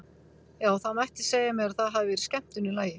Já, það mætti segja mér að það hafi verið skemmtun í lagi!